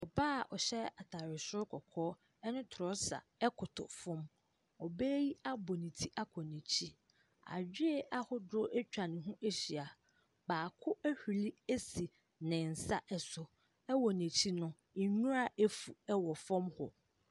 Ɔbaa a ɔhyɛ atare soro kɔkɔɔ ne trɔsa koto fam. Ɔbaa yi abɔ ne ti akɔ n'akyi. Adoe ahodoɔ atwa ne ho ahyia. Baako ahuru asi ne nsa so. Wɔ n'akyi no, nwura afu wɔ fam hɔ.